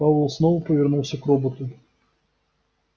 пауэлл снова повернулся к роботу